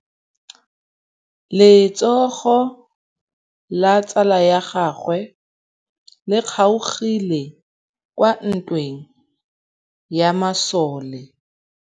Letsôgô la tsala ya gagwe le kgaogile kwa ntweng ya masole.